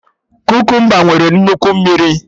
Kukumba nwere nnukwu mmiri